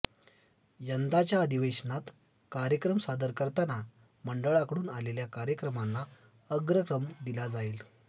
यंदाच्या अधिवेशनात कार्यक्रम सादर करताना मंडळाकडून आलेल्या कार्यक्रमांना अग्रक्रम दिला जाईल